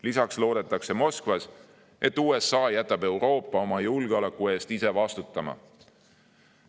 Lisaks loodetakse Moskvas, et USA jätab Euroopa oma julgeoleku eest ise vastutama.